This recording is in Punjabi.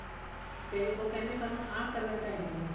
ਤੇ ਉਹ ਕਹਿੰਦੇ ਸਾਨੂੰ ਆਹ color ਚਾਹੀਦੇ ਨੇ